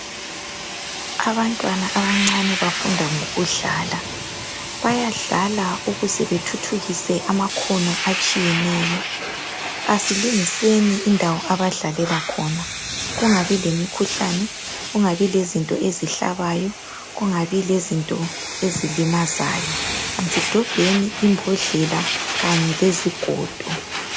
Abantwana abancane bafunda ngokudlala ,Bayadlala ukuze bethuthukise amakhono atshiyeneyo .Asilungiseni indawo abadlalela khona kungabi lemikhuhlane, kungabi lezinto ezihlabayo ,kungabi lezinto ezilimazayo .Asidobheni imbodlela Kanye lezigodo.